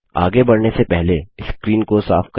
आगे बढ़ने से पहले स्क्रीन को साफ करें